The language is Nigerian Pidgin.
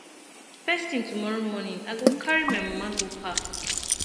first tin tomorrow morning i go carry my mama go park